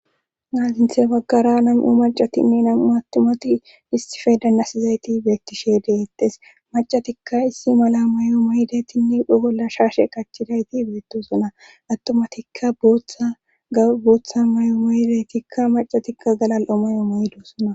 naaginthe baggara nam7u macatinne nam7u attomati issife danasizayti beettishe deeyettes macatikka issi mala may7o moydeytinne pha bolla shaashe qachidayti beettosona attomatikka booththa may7o moydaytikka macatikka galal7o may7o maydosona